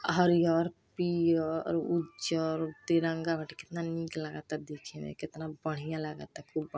आ हरिहर पियर उज्जर तिरंगा बाटे। केतना निक लागता देखे में केतना बढियां लागता। खूब ब् --